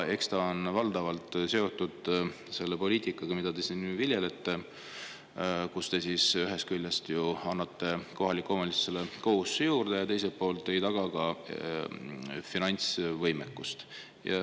Eks see ole valdavalt seotud selle poliitikaga, mida te siin viljelete, kui te ühest küljest annate kohalikele omavalitsustele kohustusi juurde ja teiselt poolt ei taga nende finantsvõimekust.